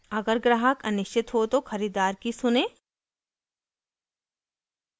अगर ग्राहक अनिश्चित हो तो खरीददार की सुनें